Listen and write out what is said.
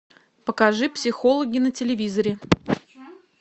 покажи психологи на телевизоре